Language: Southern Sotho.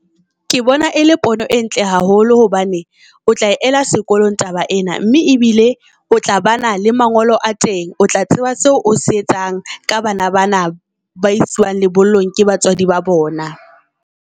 Ke bona e le pono e ntle haholo hobane o tla ela sekolong taba ena, mme e bile o tla ba na le mangolo a teng. O tla tseba seo o se etsang ka bana bana ba isuwang le bollong ke batswadi ba bona.